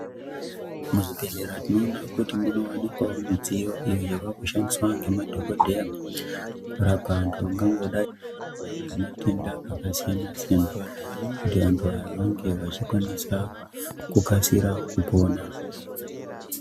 Muzvibhedhleya tinoona kuti munowanikwawo midziyo iyo yavakushandiswa ngemadhokodheya, kurapa vantu vangangodai vane matenda akasiyana-siyana, kuti antu aya ange vachikwanisa, kukasira kupona.